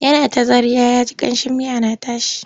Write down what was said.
Yana ta zarya ya ji ƙamshin miya na tashi.